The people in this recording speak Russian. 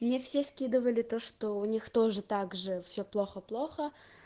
мне все скидывали то что у них тоже также все плохо плохо